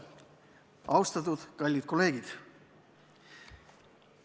Austatud kallid kolleegid!